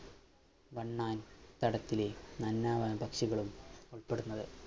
വണ്ണാൻ തടത്തിലെ പക്ഷികളും മുട്ടടുന്നത്